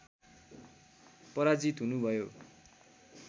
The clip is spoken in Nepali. पराजित हुनुभयो